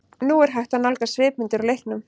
Nú er hægt að nálgast svipmyndir úr leiknum.